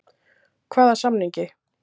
Hvaða samningi?